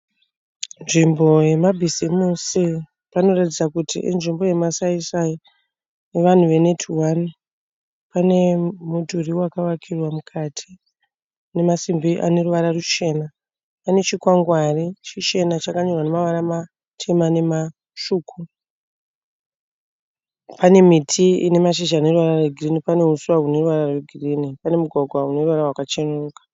Nzvimbo yemabizimusi. Panoratidza kuti inzvimbo yemasai sai evanhu ve neti hwani. Pane mudhuri wakavakirwa mukati une masimbi ane ruvara ruchena. Pane chikwagwari chichena chakanyorwa nevara matema nematsvuku. Pane miti ine mashizha ane ruvara rwegirini. Pane huswa hune ruvara hwegirinhi. Pane mugwagwa une ruvara rwakachenura .